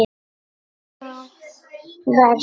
Annað vers.